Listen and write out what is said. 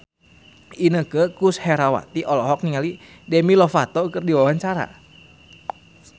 Inneke Koesherawati olohok ningali Demi Lovato keur diwawancara